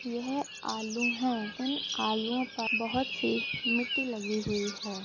यह आलू है इन आलुओं पर बोहोत सी मिट्टी लगी हुई है।